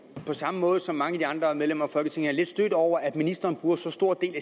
på samme måde som mange af de andre medlemmer af folketinget lidt stødt over at ministeren bruger så stor en